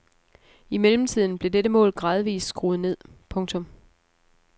I mellemtiden blev dette mål gradvist skruet ned. punktum